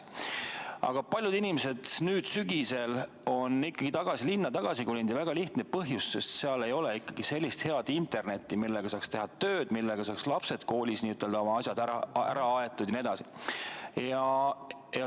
Aga paljud inimesed nüüd sügisel on ikkagi tagasi linna kolinud, ja seda väga lihtsal põhjusel: seal ei ole head internetti, millega saaks teha tööd, millega saaksid lapsed koolis oma asjad ära aetud jne.